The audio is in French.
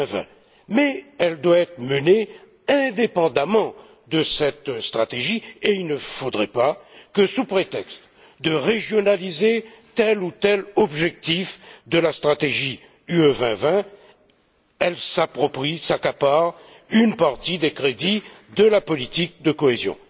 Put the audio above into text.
2020. Mais elle doit être menée indépendamment de cette stratégie et il ne faudrait pas que, sous prétexte de régionaliser tel ou tel objectif de la stratégie UE 2020, elle s'approprie ou s'accapare une partie des crédits de la politique de cohésion.